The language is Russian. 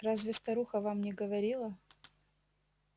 разве старуха вам не говорила